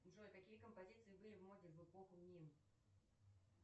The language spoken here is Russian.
джой какие композиции были в моде в эпоху мин